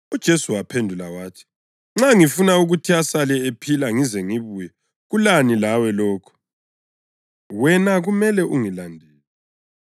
UJesu waphendula wathi, “Nxa ngifuna ukuthi asale ephila ngize ngibuye kulani lawe lokho? Wena kumele ungilandele.”